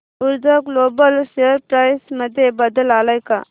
ऊर्जा global share price मध्ये बदल आलाय का